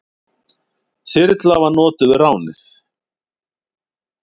Þyrla var notuð við ránið.